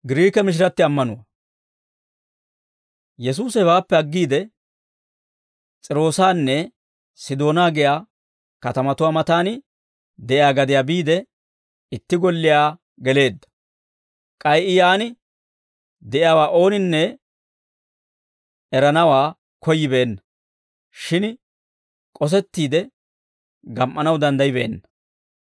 Yesuusi hewaappe aggiide, S'iiroosanne Sidoonaa giyaa katamatuwaa matan de'iyaa gadiyaa biide, itti golliyaa geleedda; k'ay I yaan de'iyaawaa ooninne eranawaa koyyibeenna; shin k'osettiide gam"anaw danddayibeenna.